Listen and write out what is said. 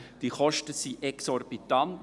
Die Kosten sind exorbitant.